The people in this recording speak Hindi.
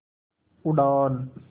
उड़ान